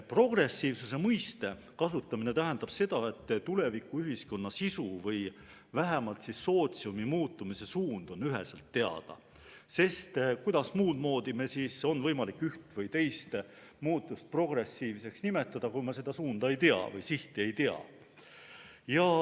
Progressiivsuse mõiste kasutamine tähendab seda, et tulevikuühiskonna sisu või vähemalt sootsiumi muutumise suund on üheselt teada, sest kuidas muud moodi meil on võimalik üht või teist muutust progressiivseks nimetada, kui me seda suunda või sihti ei tea.